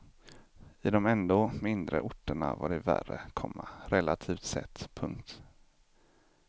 I de ändå mindre orterna var det värre, komma relativt sett. punkt